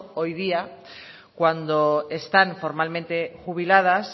hoy día cuando están formalmente jubiladas